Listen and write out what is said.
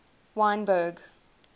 wynberg